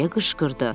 Deyə qışqırdı.